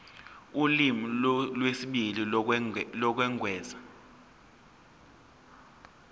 ulimi lwesibili lokwengeza